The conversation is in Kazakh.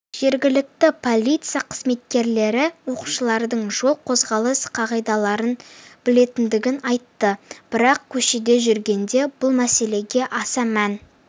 жергілікті полиция қызметкерлері оқушылардың жол қозғалысы қағидаларын білетіндігін айтты бірақ көшеде жүргенде бұл мәселеге аса мән